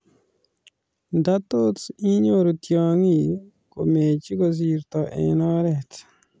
ndatos inyoru tyongiik komeche kosirto eng oret